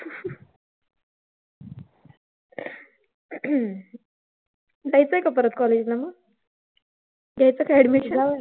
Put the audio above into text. जायचंय का परत college ला मग? घ्यायचं का admission?